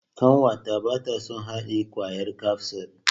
Ƙanwata bata son haɗiye kwayar kafsul.